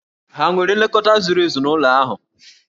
Hà nwetara nlekọta zuru ezu n'ụlọ ahụ?